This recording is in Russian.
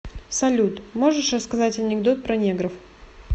салют можешь рассказать анекдот про негров